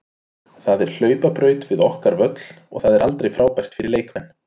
Það er hlaupabraut við okkar völl og það er aldrei frábært fyrir leikmenn.